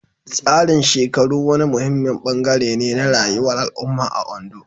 Tsarin shekaru wani muhimmin bangare ne na rayuwar al'umma a Ondo.